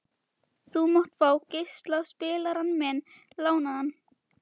Þú mátt fá geislaspilarann minn lánaðan.